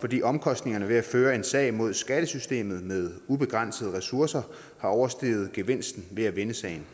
fordi omkostningerne ved at føre en sag mod skattesystemet med ubegrænsede ressourcer har oversteget gevinsten ved at vinde sagen